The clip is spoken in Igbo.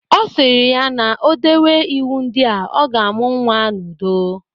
Ọ sịrị ya na-odewe iwu ndị a, ọ ga-amụ nwa n'udo.